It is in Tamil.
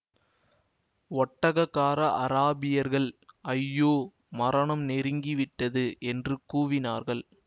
ஒட்டகக்கார அராபியர்கள் ஐயோ மரணம் நெருங்கி விட்டது என்று கூவினார்கள்